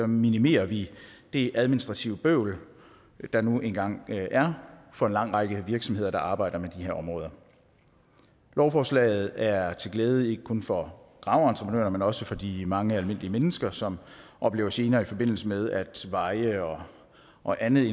minimerer vi det administrative bøvl der nu engang er for en lang række virksomheder der arbejder med de her områder lovforslaget er til glæde ikke kun for graveentreprenører men også for de mange almindelige mennesker som oplever gener i forbindelse med at veje og og anden